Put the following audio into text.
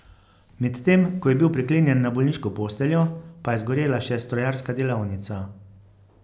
Medtem ko je bil priklenjen na bolniško posteljo, pa je zgorela še strojarska delavnica.